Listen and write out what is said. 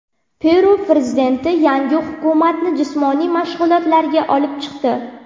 Peru prezidenti yangi hukumatni jismoniy mashg‘ulotga olib chiqdi.